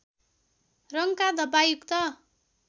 रङका धब्बायुक्त